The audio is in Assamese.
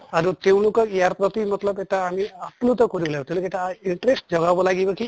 আৰু তেওঁলোকক ইয়াৰ প্ৰতি মত্লব এটা আমি এটা আপ্লুত কৰিলে তেওঁলোকে এটা interest জগাব লাগিব কি